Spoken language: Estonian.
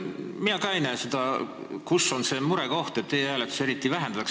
Mina ka ei näe seda, kus on see murekoht e-hääletusega seoses.